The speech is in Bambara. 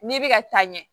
N'i bɛ ka taa ɲɛ